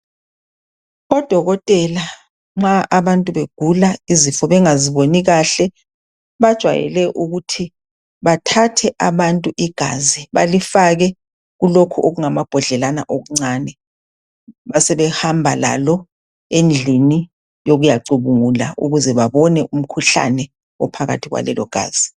Odokotela nxa abantu begula izifo bengaziboni kahle, bajwayele ukuthi bathathe abantu igazi. Balifake kulokhu okungamabhodlelana okuncane. Basebehamba lalo, endlini yokuyacubungula. Ukuze babone, umkhuhlabe, ophakathi kwalelogazi,